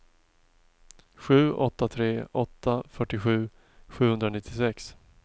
sju åtta tre åtta fyrtiosju sjuhundranittiosex